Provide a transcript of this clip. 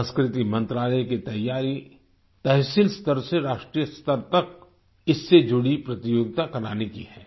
संस्कृति मंत्रालय की तैयारी तहसील स्तर से राष्ट्रीय स्तर तक इससे जुड़ी प्रतियोगिता कराने की है